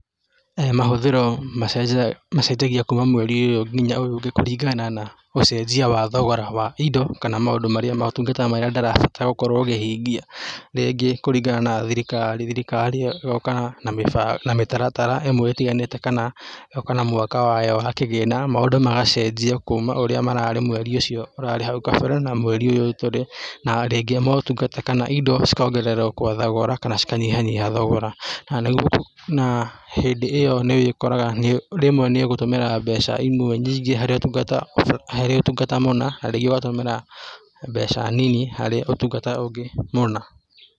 Mahũthĩro macenjagia kuuma mweri ũyũ nginya ũyũ ũngĩ kũringana na ũcenjia wa thogora wa indo kana maũndũ marĩa motungata marĩa ndĩrabatara gũkorũo ngĩhingia, rĩngĩ kũringana na thirikari, thirikari ĩo ĩgoka na mĩtaratara ĩmwe ĩtiganĩte kana ĩgoka na mwaka wayo na kĩgĩna, maũndũ magacenjia kuuma ũrĩa mararĩ mweri ũcio ũrarĩ hau kabere na mweri ũyũ tũrĩ, na rĩngĩ motungata kana indo cikaongererwo kwa thogora kana cikanyihanyiha thogora na hĩndĩ ĩo nĩ ũkoraga rĩmwe nĩ ũgũtũmĩra mbeca imwe nyingĩ harĩ ũtungata mũna, na rĩngĩ ũgatũmĩra mbeca nini harĩ ũtungata ũngĩ mũna.